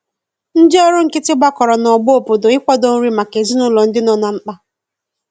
Ndi ọrụ nkiti gbakọrọ na ogbo obodo ị kwado nri maka ezinulo ndi nọ na mkpa